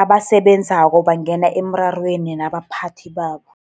Abasebenzako bangena emrarweni nabaphathi babo.